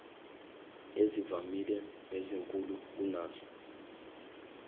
ezivamile nezinkulu kunazo